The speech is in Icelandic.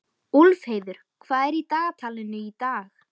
Úlfheiður, hvað er í dagatalinu í dag?